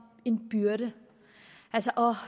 en byrde åh